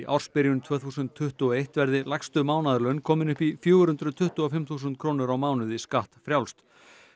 ársbyrjun tvö þúsund tuttugu og eitt verði lægstu mánaðarlaun komin upp í fjögur hundruð tuttugu og fimm þúsund skattfrjálst